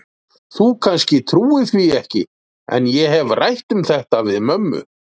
Þú kannski trúir því ekki, en ég hef rætt um þetta við mömmu.